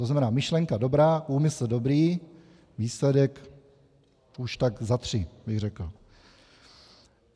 To znamená, myšlenka dobrá, úmysl dobrý, výsledek už tak za tři, bych řekl.